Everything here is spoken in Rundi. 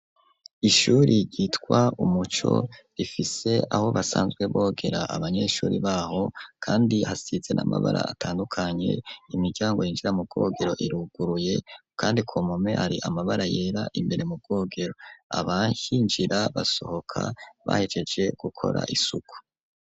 Ishure ryitwa umuco rifise aho basanzwe bogera abanyeshure baho kandi hasize na mabara atandukanye imiryango yinjira mu bwogero iruguruye kandi ku mpome amabara yera imbere mu bwogero, abahinjira basohoka bahegeje gukora isuku.